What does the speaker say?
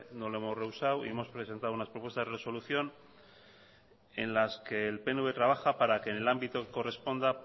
no lo hemos rehusado y hemos presentado unas propuestas de resolución en las que el pnv trabaja para que en el ámbito que corresponda